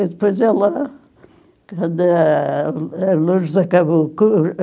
E depois ela, quando a a Lourdes acabou o